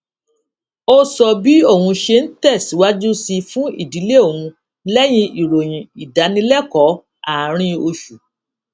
ó sọ bí òun ṣe ń tè síwájú sí fún ìdílé òun léyìn ìròyìn ìdánilékòó àárín oṣù